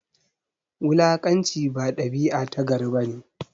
Wulakanci ba dabia ta gari bane